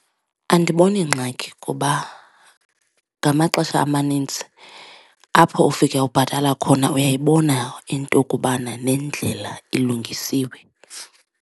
Andiboni ngxaki kuba ngamaxesha amaninzi apho ufike ubhatala khona uyayibona into kubana nendlela ilungisiwe.